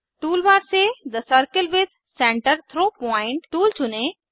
toolbar से the circle with centre through point tool चुनें